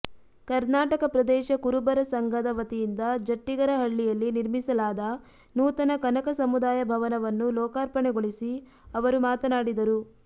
ಕರ್ನಾಟಕ ಪ್ರದೇಶ ಕುರುಬರ ಸಂಘದ ವತಿಯಿಂದ ಜಟ್ಟಿಗರಹಳ್ಳಿಯಲ್ಲಿ ನಿರ್ಮಿಸಲಾದ ನೂತನ ಕನಕ ಸಮುದಾಯ ಭವನವನ್ನು ಲೋಕಾರ್ಪಣೆಗೊಳಿಸಿ ಅವರು ಮಾತನಾಡಿದರು